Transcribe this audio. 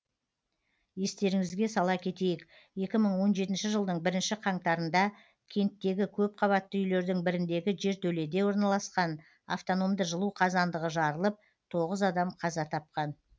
естеріңізге сала кетейік екі мың он жетінші жылдың бірінші қаңтарында кенттегі көпқабатты үйлердің біріндегі жертөледе орналасқан автономды жылу қазандығы жарылып тоғыз адам қаза тапқан